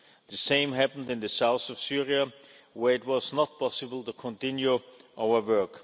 The same happened in the south of Syria, where it was not possible to continue our work.